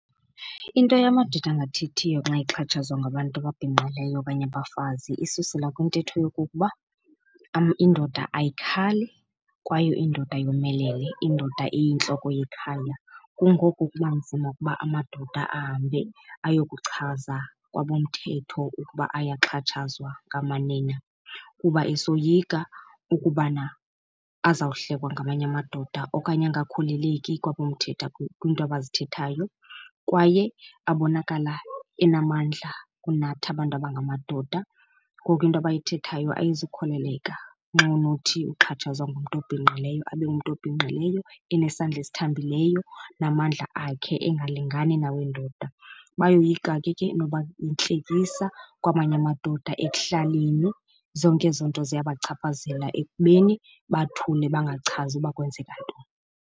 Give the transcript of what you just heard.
Into yamadoda angathethiyo xa exhatshazwa ngabantu ababhinqileyo okanye abafazi isusela kwintetho yokokuba indoda ayikhali kwaye indoda yomelele, indoda iyintloko yekhaya. Kungoko kuba nzima ukuba amadoda ahambe ayokuchaza kwabomthetho ukuba ayaxhatshazwa ngamanina kuba esoyika ukubana azawuhlekwa ngamanye amadoda okanye angakholeleki kwabomthetho kwinto abazithethayo. Kwaye abonakala enamandla kunathi abantu abangamadoda, ngoku into abayithethayo ayizukholeleka nxa unothi uxhatshazwa ngumntu obhinqileyo abe umntu obhinqileyo enesandla esithambileyo namandla akhe engalingani nawendoda. Bayoyika ke ke noba yintlekisa kwamanye amadoda ekuhlaleni. Zonke ezo nto ziyabachaphazela ekubeni bathule bangachazi uba kwenzeka ntoni.